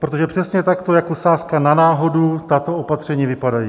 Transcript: Protože přesně tak jako sázka na náhodu tato opatření vypadají.